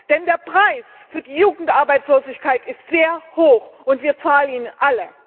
Denn der Preis für die Jugendarbeitslosigkeit ist sehr hoch, und wir zahlen ihn alle!